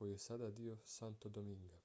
koji je sada dio santo dominga